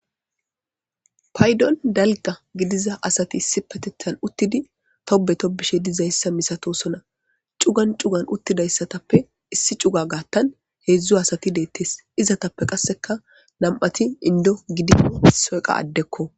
Payddon dalgga gidiza asati issipetethan uttidi tobbe tobbizayssa misatosona cugan cugan uttidayssatappe issi cuga gaatan heedzdzu asati dettees izetappe qasseka nam'ati inddo gidishin issoyka addeko.